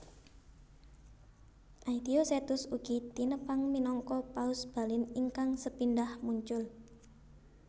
Aetiosetus ugi tinepang minangka paus Balin ingkang sepindhah muncul